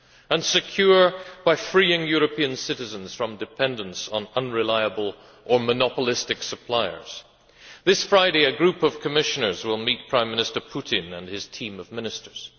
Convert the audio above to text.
and secure by freeing European citizens from dependence on unreliable or monopolistic suppliers. This Friday, a group of Commissioners will meet Prime Minister Putin and his team of ministers.